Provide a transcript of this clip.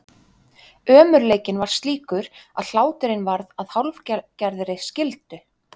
Ömurleikinn var slíkur að hláturinn varð að hálfgerðri skyldu.